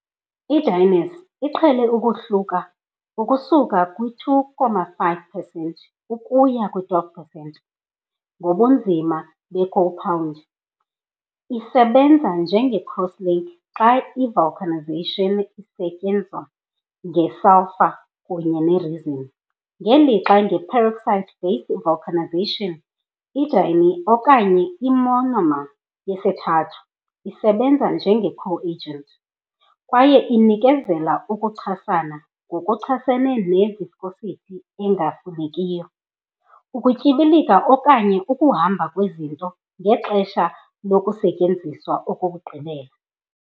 I-dienes, eqhele ukuhluka ukusuka kwi-2.5 percent ukuya kwi-12 percent ngobunzima bekhompawundi, isebenza njenge-cross-links xa i-vulcanization isenziwa ngesulfure kunye ne-resin, ngelixa nge-peroxide-based vulcanizations i-diene, okanye i-monomer yesithathu, isebenza njenge-coagent. kwaye inikezela ukuchasana ngokuchasene ne -viscosity engafunekiyo, ukutyibilika okanye ukuhamba kwezinto ngexesha lokusetyenziswa kokugqibela.